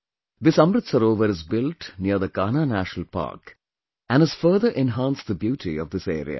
This Amrit Sarovar is built near the Kanha National Park and has further enhanced the beauty of this area